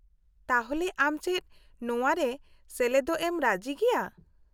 -ᱛᱟᱦᱚᱞᱮ ᱟᱢ ᱪᱮᱫ ᱱᱚᱣᱟ ᱨᱮ ᱥᱮᱞᱮᱫᱚᱜ ᱨᱮᱢ ᱨᱟᱹᱡᱤᱜᱮᱭᱟ ?